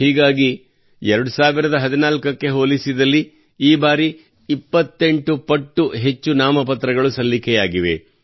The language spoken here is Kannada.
ಹೀಗಾಗಿ 2014ಕ್ಕೆ ಹೋಲಿಸಿದಲ್ಲಿ ಈ ಬಾರಿ 28 ಪಟ್ಟು ಹೆಚ್ಚು ನಾಮಪತ್ರಗಳು ಸಲ್ಲಿಕೆಯಾಗಿವೆ